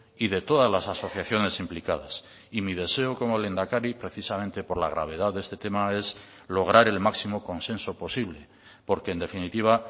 y de todas las asociaciones implicadas y mi deseo como lehendakari precisamente por la gravedad de este tema es lograr el máximo consenso posible porque en definitiva